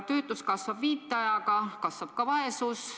Töötus kasvab viitajaga ja kasvab ka vaesus.